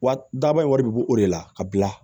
Wa daba in wari bi bɔ o de la ka bila